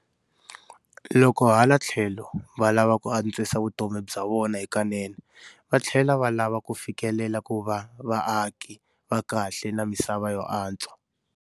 Loko hala tlhelo valava ku antswisa vutomi bya vona hikanene, vatlhela va lava ku fikelela ku va vaaki va kahle na misava yo antswa.